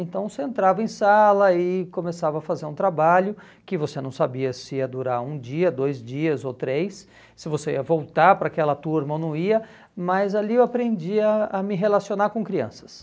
Então você entrava em sala e começava a fazer um trabalho que você não sabia se ia durar um dia, dois dias ou três, se você ia voltar para aquela turma ou não ia, mas ali eu aprendi a a me relacionar com crianças.